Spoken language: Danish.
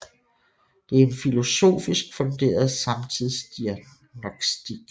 Det er en filosofisk funderet samtidsdiagnostik